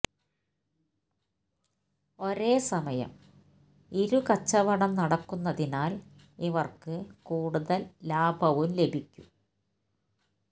ഒരേ സമയം ഇരു കച്ചവടം നടക്കുന്നതിനാല് ഇവര്ക്ക് കൂടുതല് ലാഭവും ലഭിക്കും